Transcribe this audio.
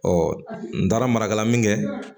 n taara marakala min kɛ